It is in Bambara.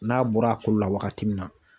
N'a bɔra a kolo la waagati min na.